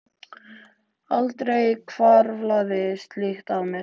en aldrei hvarflaði slíkt að mér.